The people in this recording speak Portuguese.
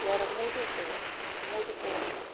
E era muito boa, muito boa mesmo.